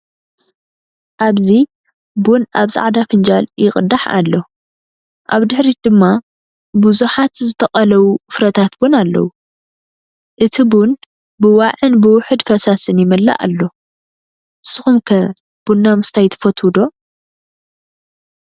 ኣብዚ ቡን ኣብ ጻዕዳ ፍንጃል ይቅዳሕ ኣሎ። ኣብ ድሕሪት ድማ ብዙሓት ዝተቀለው ፍረታት ቡን ኣለዉ። እቲ ቡን ብዋዒን ብውሑድ ፈሳሲን ይምላእ ኣሎ። ንስኩም ከ ቡና ምስታይ ትፈትው ዶ?